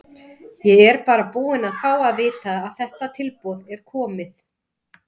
Ég er bara búinn að fá að vita að þetta tilboð er komið.